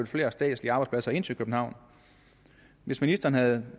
flere statslige arbejdspladser ind til københavn hvis ministeren havde